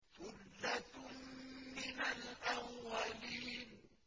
ثُلَّةٌ مِّنَ الْأَوَّلِينَ